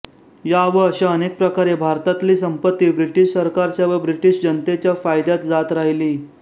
या व अशा अनेक प्रकारे भारतातली संपत्ती ब्रिटिश सरकारच्या व ब्रिटिश जनतेच्या फायद्यात जात राहिली